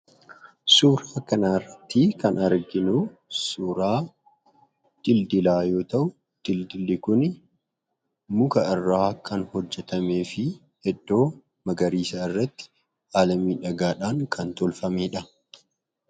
Suuraa kanarratti kan arginuu suuraa dildilaa yoo ta'u , dildilli kuni muka irraa kan hojjatameefi iddoo magariisaarratti haala miidhagaadhaan kan tolfamedha.